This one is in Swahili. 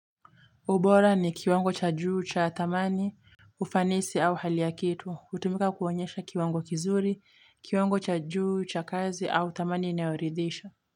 Ubora ni kiwango cha juu, cha thamani, ufanisi au hali ya kitu, hutumika kuonyesha kiwango kizuri, kiwango cha juu, cha kazi au thamani inayoridhisha.